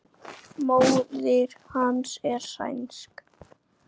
Móðir hans er sænsk.